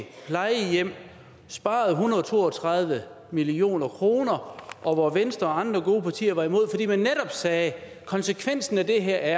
plejehjem man sparede en hundrede og to og tredive million kroner og venstre og andre gode partier var imod fordi man netop sagde at konsekvensen af det her